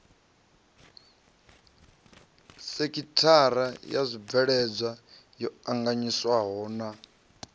sekithara ya zwibveledzwa yo anganyiswahona